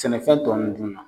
Sɛnɛ fɛn tɔ nunnu na.